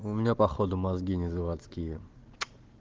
у меня походу мозги не заводские